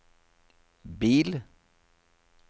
bil